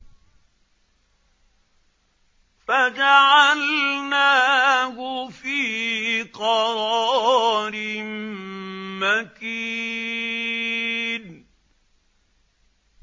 فَجَعَلْنَاهُ فِي قَرَارٍ مَّكِينٍ